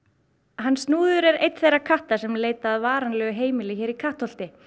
hann snúður er einn þeirra katta sem leita að varanlegu heimili hér í Kattholti